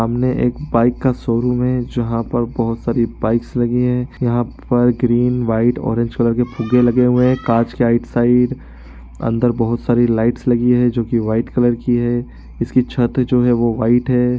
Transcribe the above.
सामने एक बाइक का शोरूम है जहाँ पर बहोत सारी बाइक्स लगी है यहां पर ग्रीन व्हाइट ऑरेंज कलर के फुगे लगे हुए है कांच के राइट साइड अंदर बहोत सारी लाइट्स लगी हैं जो की व्हाइट कलर की है इसकी छते जो है वो व्हाइट है।